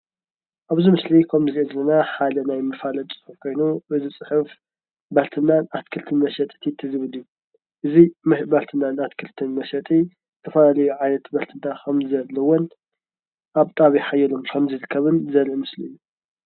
ኣብዚ ምስሊ ከምንሪኦ ዘለና ሓደ ናይ መፋለጢ ፅሑፍ ኮይኑ እዚ ፅሑፍ ባልትናን ኣትክልትን መሸጥን ዝብል እዩ እዚ ባልትናን ኣትክልትን መሸጢ ዝተፈላለዩ ዓይነት ባልትና ከምዘለዎን ኣብ ጣብያ ሓየሎም ከምዝርከብን ዘርኢ ምስሊ እዩ።